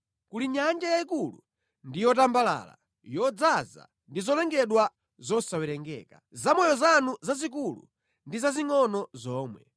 Kuli nyanja yayikulu ndi yotambalala, yodzaza ndi zolengedwa zosawerengeka, zamoyo zanu zazikulu ndi zazingʼono zomwe.